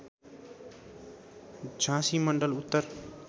झाँसी मण्डल उत्तर